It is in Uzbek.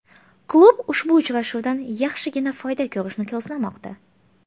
Klub ushbu uchrashuvdan yaxshigina foyda ko‘rishni ko‘zlamoqda.